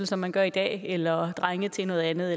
som man gør i dag eller drengene til noget andet